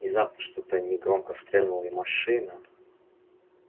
внезапно что-то негромко стрельнуло и машина